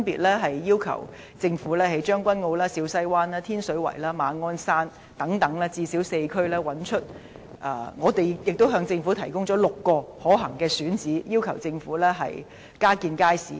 我們要求政府分別在將軍澳、小西灣、天水圍和馬鞍山等最少4區加建街市，亦向政府提供了6個可行的選址，要求政府加建街市。